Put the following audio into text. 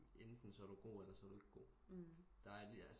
Enten så er du god eller så er du ikke god der er